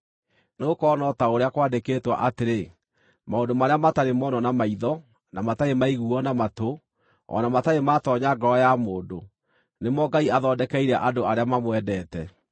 Nĩgũkorwo no ta ũrĩa kwandĩkĩtwo atĩrĩ: “Maũndũ marĩa matarĩ monwo na maitho, na matarĩ maiguuo na matũ, o na matarĩ maatoonya ngoro ya mũndũ, nĩmo Ngai athondekeire andũ arĩa mamwendete”: